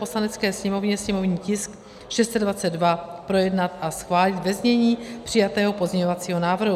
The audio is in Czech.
Poslanecké sněmovně sněmovní tisk 622 projednat a schválit ve znění přijatého pozměňovacího návrhu.